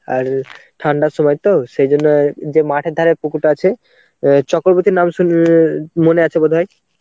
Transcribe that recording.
আর ঠান্ডার সময় তো, সেই জন্য যে মাঠের ধারে পুকুরটা আছে, অ্যাঁ চক্রবর্তীর নাম শুনে~ মনে আছে বোধহয়.